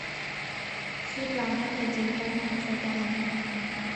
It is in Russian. светлана владимировна загайнова